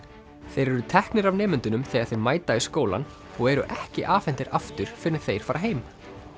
þeir eru teknir af nemendunum þegar þeir mæta í skólann og eru ekki afhentir aftur fyrr en þeir fara heim